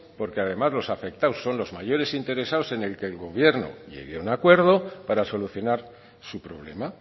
porque además los afectados son los mayores interesados en que el gobierno llegue a un acuerdo para solucionar su problema